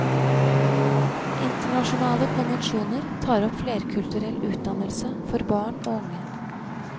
Internasjonale konvensjoner tar opp flerkulturell utdannelse for barn og unge.